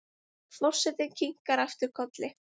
Forsetinn kinkar aftur kolli.